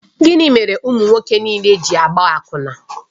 Gịnị mere ụmụ nwoke niile ji na-agba akwụna?